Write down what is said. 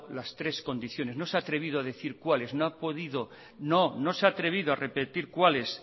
las tres condiciones no se ha atrevido a decir cuáles no ha podido no no se ha atrevido a repetir cuáles